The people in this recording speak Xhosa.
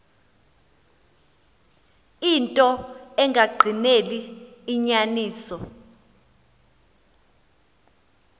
into engagqineli inyaniso